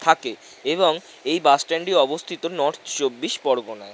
থাকে এবং এই বাস স্ট্যান্ড -ই অবস্থিত নর্থ চব্বিশ পরগনায়।